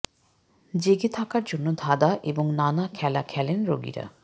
জেগে থাকার জন্য ধাঁধা এবং নানা খেলা খেলেন রোগীরা